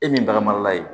E min bagara ye